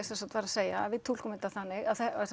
var að segja að við túlkum þetta þannig